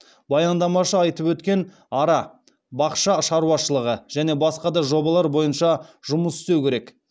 баяндамашы айтып өткен ара бақша шаруашылығы және басқа да жобалар бойынша жұмыс істеу керек